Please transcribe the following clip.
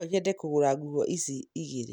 No nyende kũgũra nguo ici igĩrĩ.